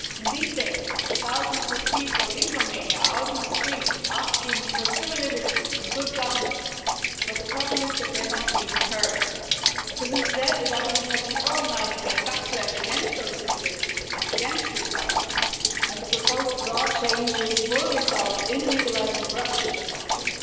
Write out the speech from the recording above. These days, thousands of people in Romania are out in the streets, asking for civil liberties and good governance, but the problem is that they're not being heard because instead the government has been organising a backlash against those civil liberties and against good governance, and the proposed law changes will result in legalising corruption de facto.